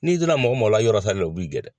N'i dira mɔgɔ mɔgɔ la yɔrɔla sali o b'i gɛn dɛ